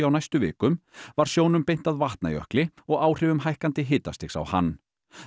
á næstu vikum var sjónum beint að Vatnajökli og áhrifum hækkandi hitastigs á hann